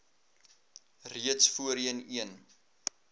reeds voorheen een